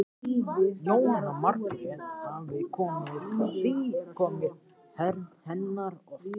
Jóhanna Margrét: Hafið þið komið hérna oft?